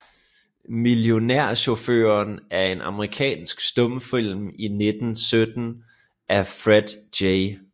Millionærchaufføren er en amerikansk stumfilm fra 1917 af Fred J